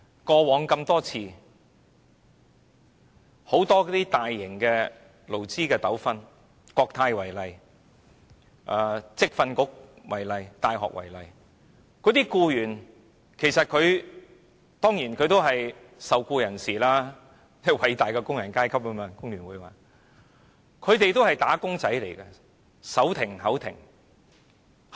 過往很多大型的勞資糾紛，以國泰、職業訓練局和大學為例，僱員當然是受僱人士，即工聯會所說的偉大的工人階級，他們也是"打工仔"，手停口停。